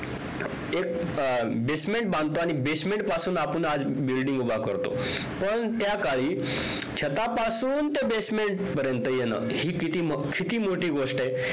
एक basement बांधतो आणि basement पासून आपुन आज building उभा करतो पण त्या काळी छतापासून ते basement पर्यंत येण हि किती हि किती मोठी गोष्ट आहे